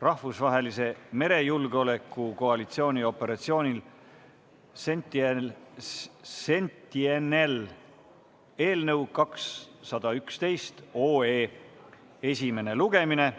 rahvusvahelise merejulgeoleku koalitsiooni operatsioonil Sentinel" eelnõu 211 esimene lugemine.